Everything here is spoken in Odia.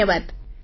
ଧନ୍ୟବାଦ